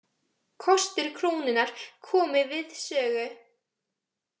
Kostir krónunnar komi við sögu